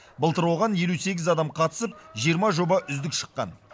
былтыр оған елу сегіз адам қатысып жиырма жоба үздік шыққан